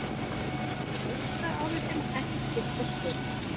Töldu lögfræðiálitin ekki skipta sköpum